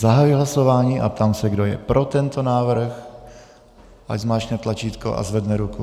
Zahajuji hlasování a ptám se, kdo je pro tento návrh, ať zmáčkne tlačítko a zvedne ruku.